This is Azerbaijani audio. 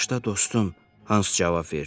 “Bağışla dostum,” Hans cavab verdi.